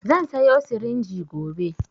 Zan sayo sirinji gobe